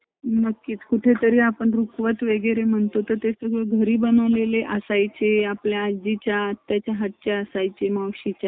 थोडा business येत किवा